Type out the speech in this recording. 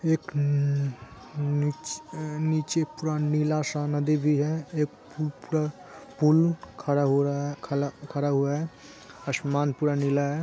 एक न-नीच-नीचे पूरा नीला सा नदी भी है एक पु-पूरा पुल खड़ा हो रहा खला खड़ा हुआ है आसमान पूरा नीला है।